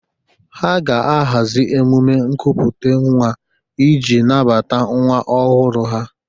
Ha ga-ahazi emume nkupute nwa ịji nabata nwa ọhụrụ ha.